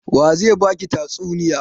Wa ze ba ki tatsuniya?